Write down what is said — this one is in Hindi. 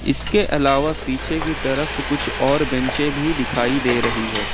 इसके अलावा पीछे की तरफ कुछ और बेंचे भी दिखाई दे रही है।